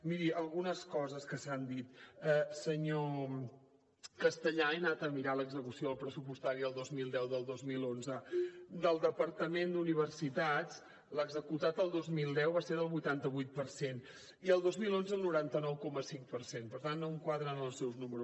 miri algunes coses que s’han dit senyor castellà he anat a mirar l’execució pressupostària del dos mil deu i del dos mil onze del departament d’universitats l’executat el dos mil deu va ser del vuitanta vuit per cent i el dos mil onze el noranta nou coma cinc per cent per tant no em quadren els seus números